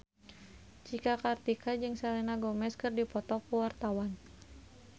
Cika Kartika jeung Selena Gomez keur dipoto ku wartawan